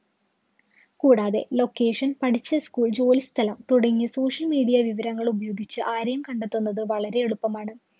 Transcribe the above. കൂടാതെ location പഠിച്ച school ജോലി സ്ഥലം തുടങ്ങിയ social media വിവരങ്ങളുപയോഗിച്ച് ആരെയും കണ്ടെത്തുന്നത് വളരെ എളുപ്പമാണ്.